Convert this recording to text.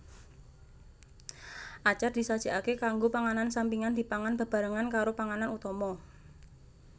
Acar disajikake kanggo panganan sampingan dipangan bebarengan karo panganan utama